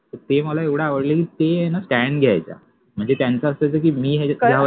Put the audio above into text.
ते मला एवढ आवडल कि आहे न स्टॅन्ड घ्यायाच्या म्हणजे त्यांच अस असायच कि मि